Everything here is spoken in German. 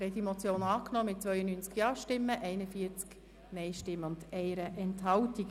Sie haben die Motion angenommen mit 92 Ja- gegen 41 Nein-Stimmen bei 1 Enthaltung.